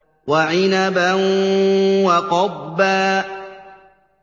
وَعِنَبًا وَقَضْبًا